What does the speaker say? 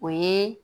O ye